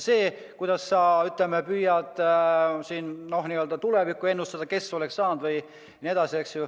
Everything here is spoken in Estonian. See, kuidas sa püüad siin tulevikku ennustada, et kes oleks saanud või ...